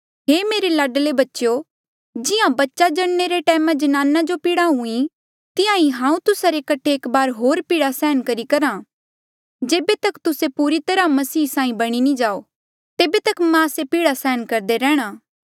हे मेरे लाडले बच्चेयो जिहां बच्चा जणने रे टैमा जनाने जो पीड़ा हुईं तिहां ही हांऊँ तुस्सा रे कठे एक बारी होर पीड़ा सहन करी करहा जेबे तक तुस्से पूरी तरहा मसीहा साहीं नी बणी जाओ तेबे तक मां से पीड़ा सहन करदे रेहणा